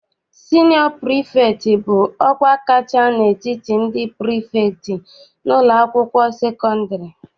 Sinịọ prifektị bụ ọkwa kacha n'etiti ndị prifektị n'ụlọakwụkwọ sekọndịrị.